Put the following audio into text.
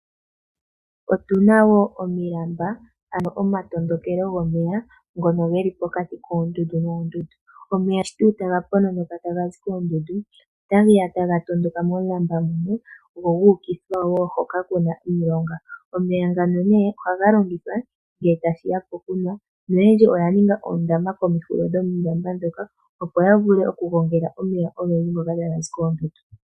Otu na omilamba, ano omatondokelo gomeya ngono ge li pokati koondundu noondundu. Omeya tuu shi taga pononoka taga zi koondundu otage ya taga tondoka momulamba moka go gu ukithwa wo hono ku na omilonga. Omeya ngaka ohaga longithwa ngele tashi ya pokunwa noyendji oya ninga oondaama komahulilo gomilamba, opo ya vule okugongela omeya ogendji ngoka taga zi koondundu.